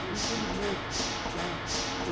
Conhecido por todo mundo.